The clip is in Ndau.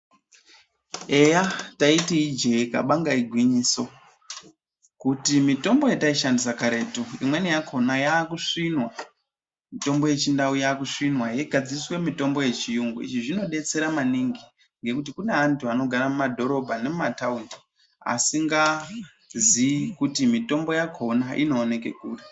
Eya taiti ijee kabanga igwinyoso, kuti mitombo yataishandisa karetu imweni yakona yakusvinwa mitombo yekudhaya yakusvinwa yeigadziriswa mitombo yechiyungu izvi zvinodetsera maningi ngekuti kune antu anogara mumadhorobha nemumataundi asingazii kuti mitombo yakhona inooneka kuri.